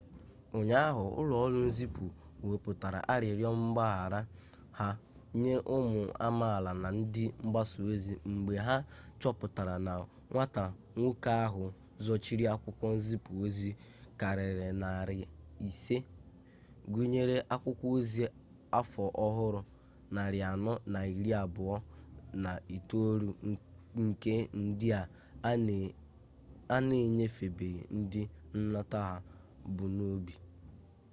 ụnyaahụ ụlọ ọrụ nzipụ wepụtara arịrịọ mgbaghara ha nye ụmụ amaala na ndị mgbasa ozi mgbe ha chọpụtara na nwata nwoke ahụ zochiri akwụkwọ nzipu ozi karịrị narị isii gụnyere akwukwo ozi afọ ọhụrụ narị anọ na iri abụọ na itoolu nke ndị a na-enyefebeghị ndị nnata ha bu n'obi